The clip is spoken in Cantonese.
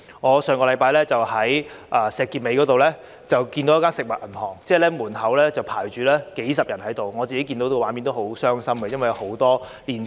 我上星期在石硤尾看到一間食物銀行的門口有幾十人在排隊，當中有不少年輕人和年輕家庭。